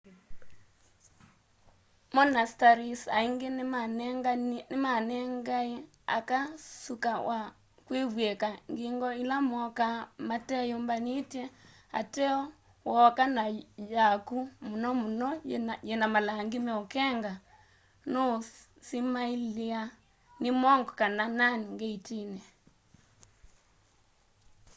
monasteries aingi nimanengae aka suka wa kwivwika ngingo ila mooka mateyumbanitye ateo wooka na yaku muno muno yina malangi meukenga nuu simailiwa ni monk kana nun ngeitini